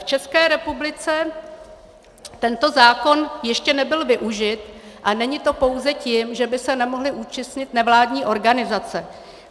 V České republice tento zákon ještě nebyl využit a není to pouze tím, že by se nemohly účastnit nevládní organizace.